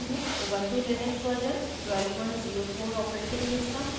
ubuntu Linux version 1204 operating system और